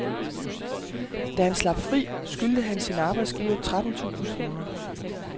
Da han slap fri, skyldte han sin arbejdsgiver tretten tusind kroner.